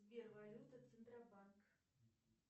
сбер валюта центробанк